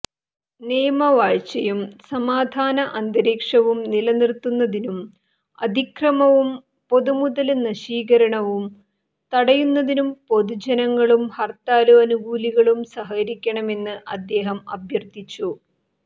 നിയമവാഴ്ചയും സമാധാനഅന്തരീക്ഷവും നിലനിര്ത്തുന്നതിനും അതിക്രമവും പൊതുമുതല് നശീകരണവും തടയുന്നതിനും പൊതുജനങ്ങളും ഹര്ത്താല് അനുകൂലികളും സഹകരിക്കണമെന്ന് അദ്ദേഹം അഭ്യര്ഥിച്ചു